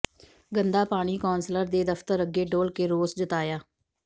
ਗੰਦਾ ਪਾਣੀ ਕੌਂਸਲਰ ਦੇ ਦਫਤਰ ਅੱਗੇ ਡੋਲ੍ਹ ਕੇ ਰੋਸ ਜਤਾਇਆ